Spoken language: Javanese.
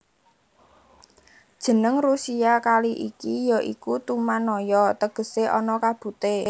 Jeneng Rusia kali iki ya iku Tumannaya tegese ana kabute